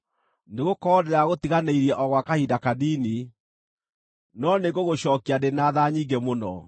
“Nĩgũkorwo ndĩragũtiganĩirie o gwa kahinda kanini, no nĩngũgũcookia ndĩ na tha nyingĩ mũno.